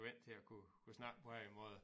Vant til at kunne kunne snakke på den måde